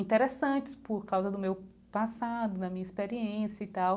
Interessantes por causa do meu passado, da minha experiência e tal.